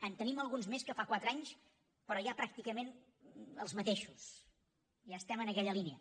en tenim alguns més que fa quatre anys però ja pràcticament els mateixos ja estem en aquella línia